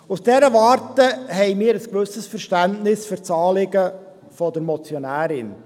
Aus dieser Warte haben wir ein gewisses Verständnis für das Anliegen der Motionärin.